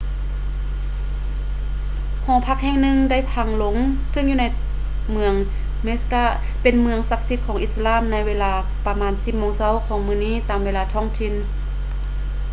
ຫໍພັກແຫ່ງໜຶ່ງໄດ້ພັງລົງເຊິ່ງຢູ່ໃນເມືອງ mecca ທີ່ເປັນເມືອງສັກສິດຂອງອິດສະລາມໃນເວລາປະມານ 10 ໂມງເຊົ້າຂອງມື້ນີ້ຕາມເວລາທ້ອງຖິ່ນ